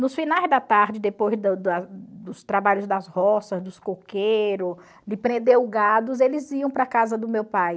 Nos finais da tarde, depois dos trabalhos das roças, dos coqueiro, de prender o gados, eles iam para a casa do meu pai.